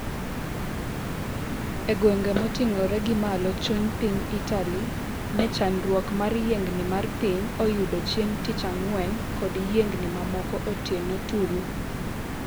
egwenge moting'ore gi malo chuny piny Itali ne chandruok mar yiengni mar piny oyudo chieng' tich ang'wen kod yiengni mamoko otieno tulu